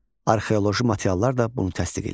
Arxeoloji materiallar da bunu təsdiq eləyir.